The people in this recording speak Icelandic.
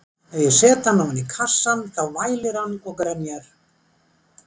Ef ég set hann ofan í kassann þá vælir hann og grenjar.